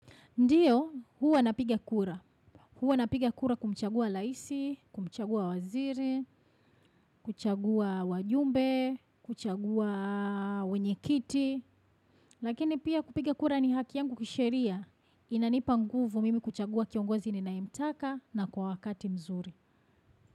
Ndiyo, huwa napiga kura. Huwa napiga kura kumchagua laisi, kumchagua waziri, kuchagua wajumbe, kuchagua wenyekiti. Lakini pia kupiga kura ni haki yangu kisheria. Inanipa nguvu mimi kuchagua kiongozi ninayemtaka na kwa wakati mzuri.